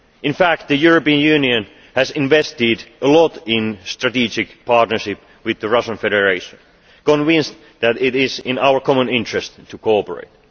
In fact, the European Union has invested a lot in the strategic partnership with the Russian Federation, convinced that it is in our common interest to cooperate.